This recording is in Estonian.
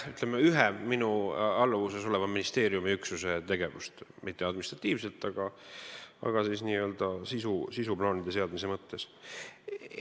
Ütleme, et koordineeritakse ühe minu alluvuses oleva ministeeriumiüksuse tegevust, mitte administratiivselt, aga n-ö sisuplaanide seadmise mõttes.